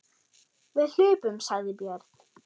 Við hlupum, sagði Björn.